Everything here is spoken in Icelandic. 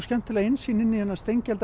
skemmtilega innsýn inn í þennan